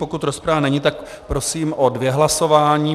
Pokud rozprava není, tak prosím o dvě hlasování.